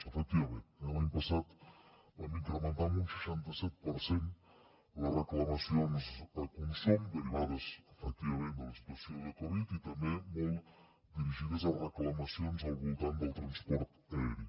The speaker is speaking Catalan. efectivament eh l’any passat vam incrementar en un seixanta set per cent les reclamacions a consum derivades efectivament de la situació de covid i també molt dirigides a reclamacions al voltant del transport aeri